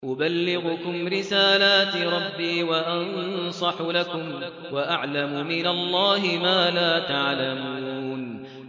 أُبَلِّغُكُمْ رِسَالَاتِ رَبِّي وَأَنصَحُ لَكُمْ وَأَعْلَمُ مِنَ اللَّهِ مَا لَا تَعْلَمُونَ